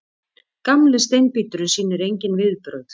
Gamli steinbíturinn sýnir engin viðbrögð.